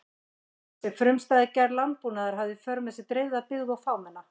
Þessi frumstæða gerð landbúnaðar hafði í för með sér dreifða byggð og fámenna.